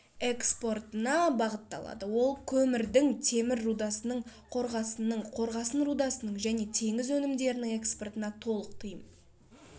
экспортына бағытталады ол көмірдің темір рудасының қорғасынның қорғасын рудасының және теңіз өнімдерінің экспортына толық тыйым